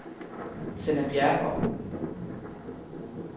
Tenna Bjerregaard